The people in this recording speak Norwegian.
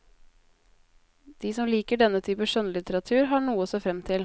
De som liker denne type skjønnlitteratur, har noe å se frem til.